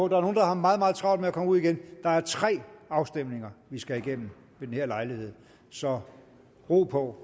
nogle der har meget meget travlt med at komme ud igen at der er tre afstemninger vi skal igennem ved den her lejlighed så ro på